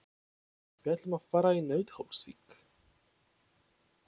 Við ætlum að fara í Nauthólsvík.